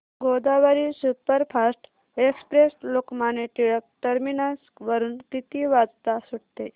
Godavari superfast express Lokmanya Tilak terminus वरून किती वाजता सुटते